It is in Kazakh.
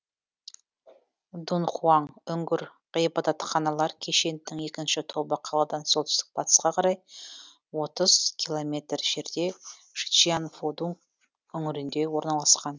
дунхуаң үңгір ғибадатханалар кешенінің екінші тобы қаладан солтүстік батысқа қарай отыз километр жерде шичианфодуң үңгірінде орналасқан